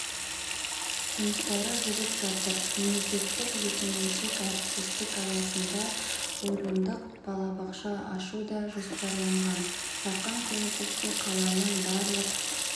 жұмыстары жүріп жатыр мемлекеттік-жекеменшік әріптестік аясында орындық балабақша ашу да жоспарланған жақын келешекте қаланың барлық